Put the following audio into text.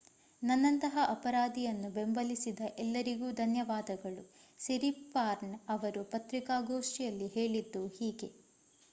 ನನ್ನಂತಹ ಅಪರಾಧಿಯನ್ನು ಬೆಂಬಲಿಸಿದ ಎಲ್ಲರಿಗೂ ಧನ್ಯವಾದಗಳು ಸಿರಿಪಾರ್ನ್ ಅವರು ಪತ್ರಿಕಾಗೋಷ್ಠಿಯಲ್ಲಿ ಹೇಳಿದ್ದು ಹೀಗೆ